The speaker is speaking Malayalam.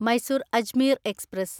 മൈസൂർ അജ്മീർ എക്സ്പ്രസ്